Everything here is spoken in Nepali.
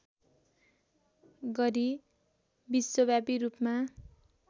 गरी विश्वव्यापी रूपमा